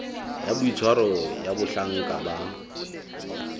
ya boitshwaro ya bahlanka ba